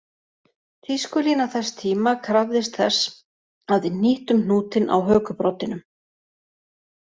Tískulína þess tíma krafðist þess að við hnýttum hnútinn á hökubroddinum